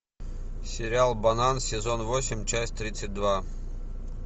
сериал банан сезон восемь часть тридцать два